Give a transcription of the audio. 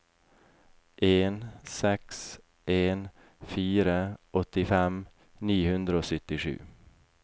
en seks en fire åttifem ni hundre og syttisju